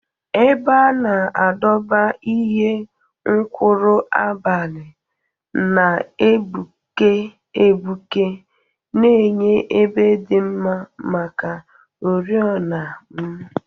Ebe a na-adọba ihe nkuru abalị na-egbuke egbuke, na-enye ebe dị mma maka oriọna m.